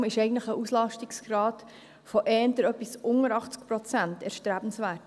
Daher ist eigentlich ein Auslastungsgrad von eher ein wenig unter 80 Prozent erstrebenswert.